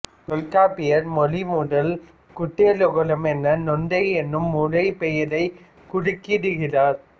தொல்காப்பியர் மொழிமுதல் குற்றியலுகரம் என நுந்தை என்னும் முறைப்பெயரைக் குறிக்கிடுகிறார்